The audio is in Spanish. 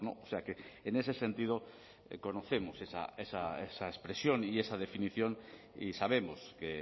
o sea que en ese sentido conocemos esa expresión y esa definición y sabemos que